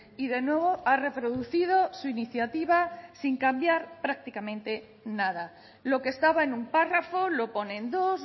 y de nuevo a reproducido su iniciativa sin cambiar prácticamente nada lo que estaba en un párrafo lo pone en dos